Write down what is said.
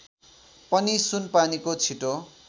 पनि सुनपानीको छिटो